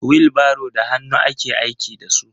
wilbaro da hannu ake aiki da su.